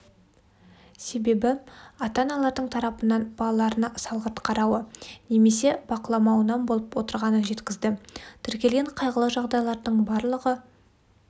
себебі ата-аналардың тарапынан балаларына салғырт қарауы немесе бақыламауынан болып отырғанын жеткізді тіркелген қайғылы жағдайлардың барлығы